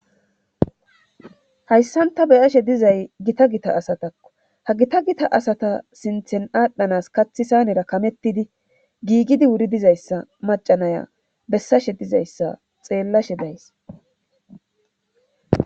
hayssan ta beyashe dizay gita gita asatakko ha gita gita asata sinthen adhdhanas kathi sayanera kamettidi giigidi wuri dizayssa macanaya bessashe dizayssa xeellashe days